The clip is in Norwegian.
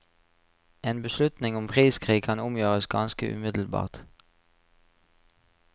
En beslutning om priskrig kan omgjøres ganske umiddelbart.